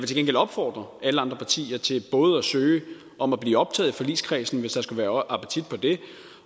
til gengæld opfordre alle andre partier til både at søge om at blive optaget i forligskredsen hvis der skulle være appetit på det